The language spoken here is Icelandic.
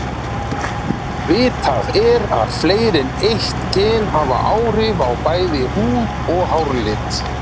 Vitað er að fleiri en eitt gen hafa áhrif á bæði húð- og hárlit.